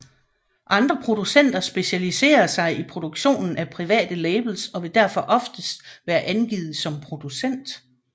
Andre producenter specialiserer sig i produktionen af private labels og vil derfor oftest være angivet som producent